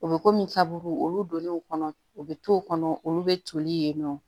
U bɛ komi kabugu olu donnen o kɔnɔ u bɛ to kɔnɔ olu bɛ toli yen nɔ